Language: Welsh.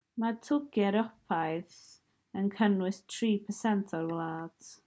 mae twrci ewropeaidd dwyrain thrace neu rumelia yng ngorynys y balcanau yn cynnwys 3% o'r wlad